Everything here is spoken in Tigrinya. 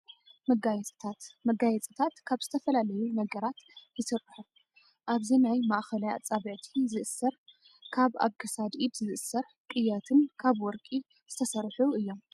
መጋየፂታት፦ መጋየፂታት ካብ ዝተፈላለዩ ነገራት ይስርሑ ኣብዚ ናይ ማእከላይ ኣፃብዕቲ ዝእሰር ካብ ኣብ ክሳድ ኢድ ዝእሰር ቅየትን ካብ ወርቂ ዝተሰርሑ እዮም።